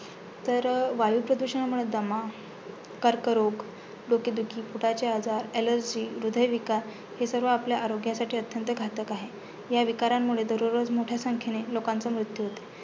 तर वायुप्रदूषणमुळे दमा, कर्करोग, डोकेदुखी, पोटाचे आजार, allergy हृदय विकार हे सर्व आपल्या आरोग्यासाठी अत्यंत घातक आहेत. ह्या विकारांमुळे दररोज मोठ्या संख्येने लोकांचा मृत्यू होतो.